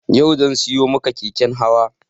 Yau zan siyo maka keken hawa